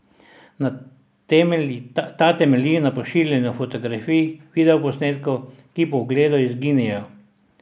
Ta temelji na pošiljanju fotografij in videoposnetkov, ki po ogledu izginejo.